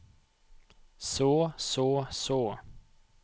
så så så